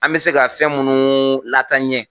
An bɛ se ka fɛn minnu lataaɲɛ